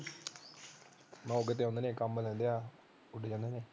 ਕੰਮ ਲੈ ਲਿਆ ਉੱਡ ਜਾਂਦੇ ਨੇ